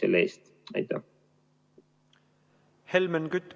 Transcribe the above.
Helmen Kütt, palun!